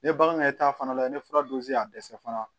Ni ye bagan yɛrɛ ta fana la ye ni fura dunsi y'a dɛsɛ fana